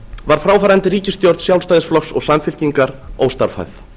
var fráfarandi ríkisstjórn sjálfstæðisflokks og samfylkingar óstarfhæf